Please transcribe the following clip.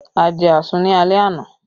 A jẹ àsun ni alẹ́ àná